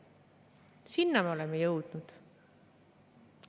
Sinna me oleme jõudnud.